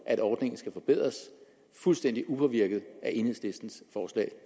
at ordningen skal forbedres fuldstændig upåvirket af enhedslistens forslag